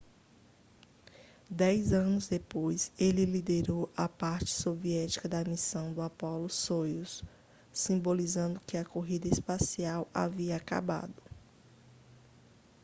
dez anos depois ele liderou a parte soviética da missão de apollo-soyuz simbolizando que a corrida espacial havia acabado